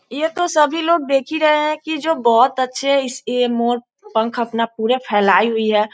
ये तो सभी लोग देख हीं रहे हैं की जो बहुत अच्छे इस ये मोर पंख अपना पूरा फैलाई हुई है।